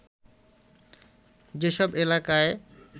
যেসব এলাকায়